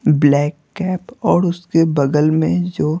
black cap और उसके बगल में जो--